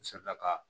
N selila ka